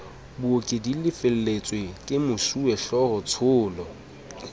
booki di lefelletswe kemosuwehlooho tsholo